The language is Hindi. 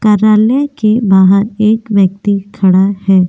कार्यालय के बाहर एक व्यक्ति खड़ा है।